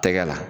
Tɛgɛ la